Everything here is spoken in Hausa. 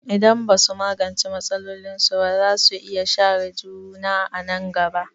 Idan ba su magance matsalolinsu ba, za su iya share juna a nan gaba.